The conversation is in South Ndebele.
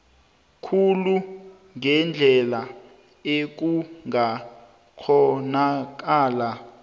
khulu ngendlela ekungakghonakala